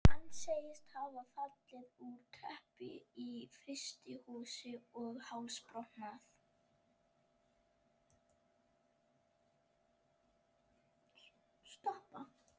Hann segist hafa fallið úr tröppu í frystihúsi og hálsbrotnað.